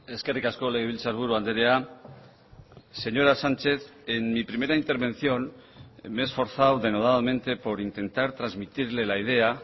eskerrik asko legebiltzarburu andrea señora sánchez en mi primera intervención me he esforzado denodadamente por intentar transmitirle la idea